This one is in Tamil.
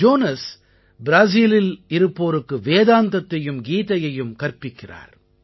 ஜோனஸ் ப்ராஸீலில் இருப்போருக்கு வேதாந்தத்தையும் கீதையையும் கற்பிக்கிறார்